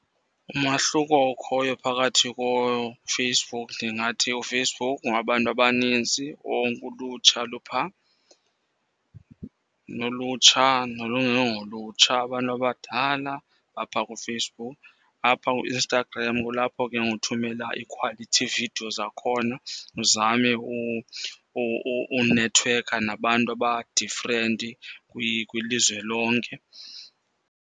Umahluko okhoyo phakathi koFacebook ndingathi uFacebook ngowabantu abanintsi, wonke ulutsha luphaa. Nolutsha nolungengolutsha abantu abadala baphaa kuFacebook. Apha kuInstagram kulapho ke ngoku uthumela i-quality video zakhona, uzame unethiwekha nabantu aba-different kwilizwe lonke.